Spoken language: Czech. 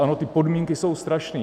Ano, ty podmínky jsou strašný.